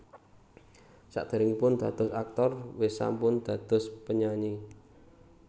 Saderengipun dados aktor West sampun dados penyanyi